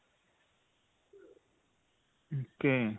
ok.